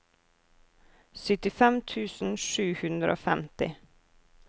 syttifem tusen sju hundre og femti